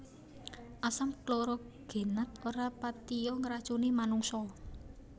Asam klorogenat ora patiya ngracuni manungsa